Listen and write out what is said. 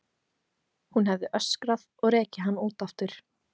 Hún hefði öskrað og rekið hann út aftur.